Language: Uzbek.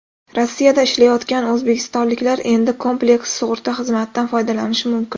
Rossiyada ishlayotgan o‘zbekistonliklar endi kompleks sug‘urta xizmatidan foydalanishi mumkin.